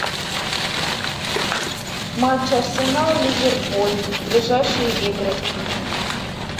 матч арсенал ливерпуль ближайшие игры